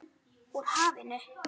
Úr hafinu.